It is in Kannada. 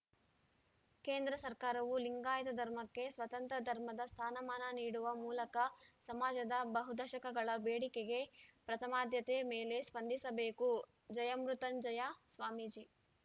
ಕೇಂದ್ರ ಸರ್ಕಾರವು ಲಿಂಗಾಯತ ಧರ್ಮಕ್ಕೆ ಸ್ವತಂತ್ರ ಧರ್ಮದ ಸ್ಥಾನ ಮಾನ ನೀಡುವ ಮೂಲಕ ಸಮಾಜದ ಬಹು ದಶಕಗಳ ಬೇಡಿಕೆಗೆ ಪ್ರಥಮಾದ್ಯತೆ ಮೇಲೆ ಸ್ಪಂದಿಸಬೇಕು ಜಯಮೃತ್ಯುಂಜಯ ಸ್ವಾಮೀಜಿ